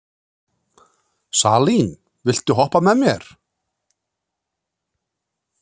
Salín, viltu hoppa með mér?